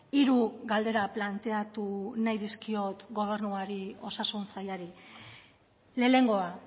hiru galdera planteatu nahi dizkiot gobernuari osasun sailari lehenengoa